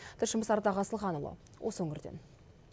тілшіміз ардақ асылханұлы осы өңірден